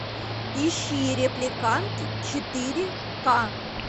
ищи репликант четыре ка